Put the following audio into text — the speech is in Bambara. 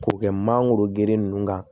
K'o kɛ mangoro geren ninnu kan